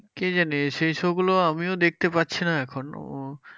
কে জানে? সেই show গুলো আমিও দেখতে পাচ্ছিনা এখন।